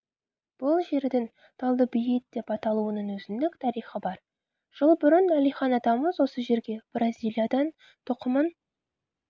бұл жердің талдыбейіт деп аталуының өзіндік тарихы бар жыл бұрын әлихан атамыз осы жерге бразилиядан тұқымын